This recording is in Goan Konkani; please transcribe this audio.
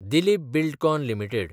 दिलीप बिल्डकॉन लिमिटेड